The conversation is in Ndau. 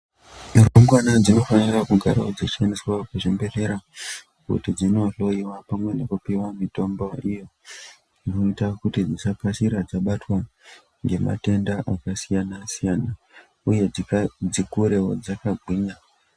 Rumbwana dzinofanira kugarawo dzichiendeswa kuzvimbehlera kuti dzinohloyiwa pamwe nekupuwa mitombo iyo inoita kuti dzisakasira dzabatwa ngematenda akasiyana-siyana uye dzikurewo dzakagwinya.